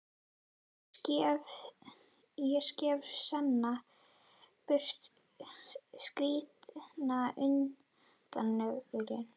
Ég skef seinna burt skítinn undan nöglunum.